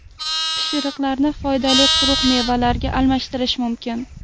Pishiriqlarni foydali quruq mevalarga almashtirish mumkin.